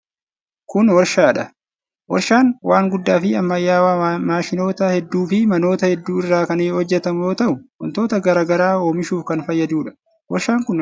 Kun warshaa dha. Warshaan waan guddaa fi ammayyawaa maashinoota hedduu fi manoota hedduu irraa kan hojjatamu yoo ta'u, wantoota garaa garaa oomishuuf kan fayyaduu dha. Warshaan kun meeshaa ijaarsaa kan akka simiintoo oomisha.